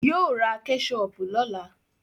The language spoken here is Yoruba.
Yóò ra Kẹ́ṣọpù lọ́la